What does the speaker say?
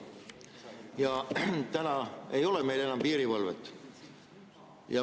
Ja täna ei ole meil enam piirivalvet.